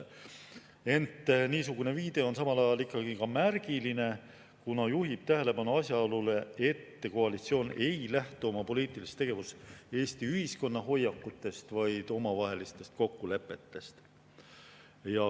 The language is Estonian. Ent niisugune viide on samal ajal ka märgiline, kuna juhib tähelepanu asjaolule, et koalitsioon ei lähtu oma poliitilises tegevuses Eesti ühiskonna hoiakutest, vaid omavahelistest kokkulepetest.